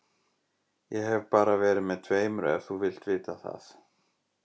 Ég hef bara verið með tveimur ef þú vilt vita það.